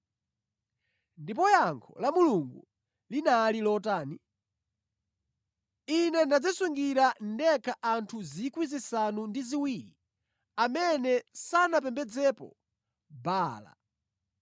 Ndipo yankho la Mulungu linali lotani? “Ine ndadzisungira ndekha anthu 7,000 amene sanapembedzepo Baala.”